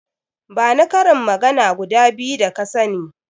Bani karin magana guda biyu da ka sani.